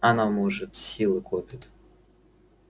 она может силы копит